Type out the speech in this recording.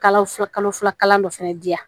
Kalo fila kalo fila kalo dɔ fɛnɛ di yan